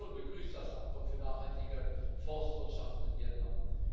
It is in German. Meine Fraktion begrüßt das Abkommen für nachhaltige Forstwirtschaft mit Vietnam.